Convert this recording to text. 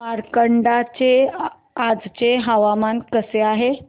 मार्कंडा चे आजचे हवामान कसे आहे